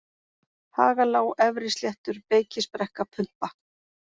Hagalág, Efrisléttur, Beykisbrekka, Pumpa